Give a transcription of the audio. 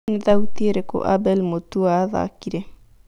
nĩ thautiĩ ĩrĩkũ Abel Mutua athakĩre